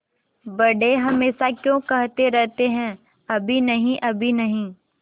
बड़े हमेशा क्यों कहते रहते हैं अभी नहीं अभी नहीं